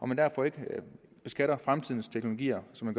man derfor ikke beskatter fremtidens teknologier som